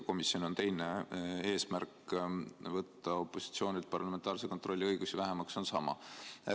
Komisjoni eesmärk võtta opositsioonilt parlamentaarse kontrolli õigusi vähemaks on sama.